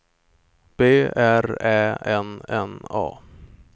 B R Ä N N A